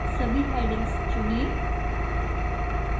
सभी headings चुनें